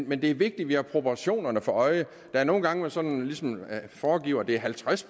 men det er vigtigt at vi har proportionerne for øje der er nogle gange man sådan ligesom forgiver at det er halvtreds